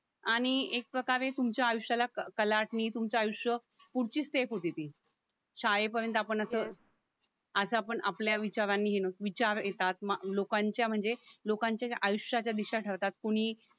आणि एक प्रकारे तुमच्या आयुष्याला कलाटणी तुमचं आयुष्य पुढची स्टेप होते ती शाळेपर्यंत आपण असं असं आपण आपल्या विचारांनी यु नो विचार येतात लोकांच्या म्हणजे लोकांच्या ज्या आयुष्याच्या ज्या दिशा ठरतात कोणी